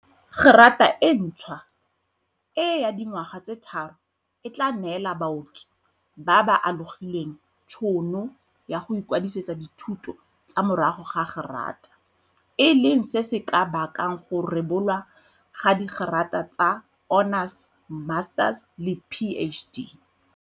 Gerata e ntšhwa e ya dingwaga tse tharo e tla neela baoki ba ba alogileng tšhono ya go ikwadisetsa dithuto tsa morago ga gerata, e leng se se ka bakang go rebolwa ga digerata tsa honours, masters le PhD.